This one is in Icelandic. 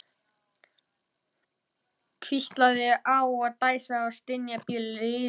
Hvíslast á og dæsa og stynja blíðlega.